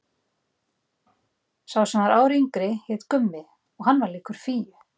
Sá sem var ári yngri hét Gummi og hann var líkur Fíu.